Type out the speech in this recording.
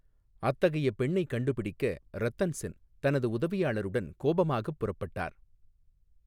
அத்தகைய பெண்ணைக் கண்டுபிடிக்க ரத்தன் சென் தனது உதவியாளருடன் கோபமாகப் புறப்பட்டார்.